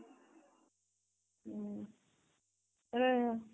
ହେଲେ